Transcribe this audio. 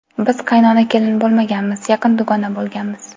Biz qaynona-kelin bo‘lmaganmiz, yaqin dugona bo‘lganmiz.